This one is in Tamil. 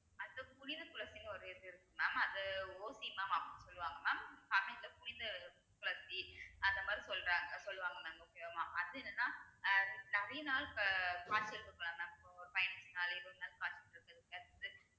அடுத்து புனித துளசினு ஒரு இது இருக்கு mam அது அப்படின்னு சொல்லுவாங்க mam தமிழ்ல புனித துளசி அந்தமாதிரி சொல்றாங்க சொல்லுவாங்க mam okay வா மா~ அது என்னனா அஹ் அது நெறைய நாள் ப~ இருக்கலாம் mam இப்போ பதினஞ்சு நாள் இருபது நாள்